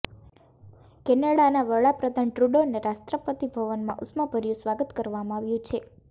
કેનેડાનાં વડાપ્રધાન ટ્રૂડોને રાષ્ટ્રપતિ ભવનમાં ઉષ્માભર્યુ સ્વાગત કરવામાં આવ્યું છે